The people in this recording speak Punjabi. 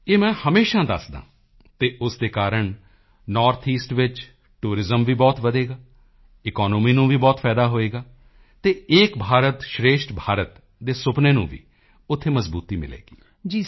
ਇਹ ਮੈਂ ਹਮੇਸ਼ਾ ਦੱਸਦਾ ਹਾਂ ਅਤੇ ਉਸ ਦੇ ਕਾਰਣ ਨੌਰਥ ਈਸਟ ਵਿੱਚ ਟੂਰਿਜ਼ਮ ਵੀ ਬਹੁਤ ਵਧੇਗਾ ਈਕੋਨੋਮੀ ਨੂੰ ਵੀ ਬਹੁਤ ਫਾਇਦਾ ਹੋਵੇਗਾ ਅਤੇ ਏਕ ਭਾਰਤ ਸ਼੍ਰੇਸ਼ਠ ਭਾਰਤ ਦੇ ਸੁਪਨੇ ਨੂੰ ਵੀ ਉੱਥੇ ਮਜ਼ਬੂਤੀ ਮਿਲੇਗੀ